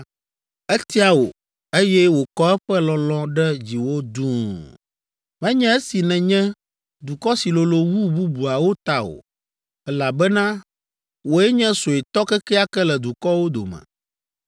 Etia wò, eye wòkɔ eƒe lɔlɔ̃ ɖe dziwò duu, menye esi nènye dukɔ si lolo wu bubuawo ta o, elabena wòe nye suetɔ kekeake le dukɔwo dome!